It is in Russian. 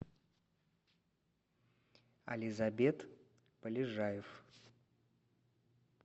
ализабет полежаев